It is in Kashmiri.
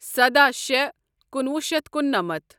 سداہ شےٚ کُنوُہ شیتھ کُننَمتھ